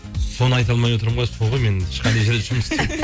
соны айта алмай отырмын ғой мен сол ғой мен ешқандай жерде жұмыс істеп